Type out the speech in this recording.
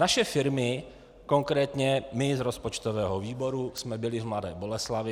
Naše firmy, konkrétně my z rozpočtového výboru jsme byli v Mladé Boleslavi.